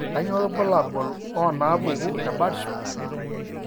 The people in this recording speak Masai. Kainyio irbulabul onaapuku eBirdshot?